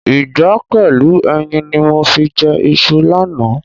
Ìgbá pẹ̀lú ẹyin ni mo fi jẹ iṣu lánàá.